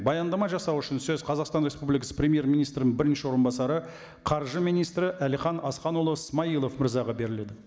баяндама жасау үшін сөз қазақстан республикасы премьер министрінің бірінші орынбасары қаржы министрі әлихан асханұлы смайылов мырзаға беріледі